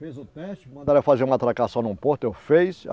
Fiz o teste, mandaram eu fazer uma atracação num porto, eu fiz.